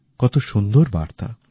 কত সুন্দর বার্তা